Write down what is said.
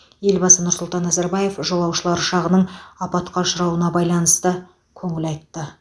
елбасы нұрсұлтан назарбаев жолаушылар ұшағының апатқа ұшырауына байланысты көңіл айтты